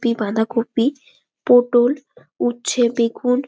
দুটি বাঁধাকপি পটল উচ্ছে বেগুন।